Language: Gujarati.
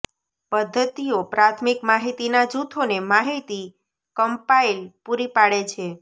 પદ્ધતિઓ પ્રાથમિક માહિતીના જૂથોને માહિતી કમ્પાઇલ પૂરી પાડે છે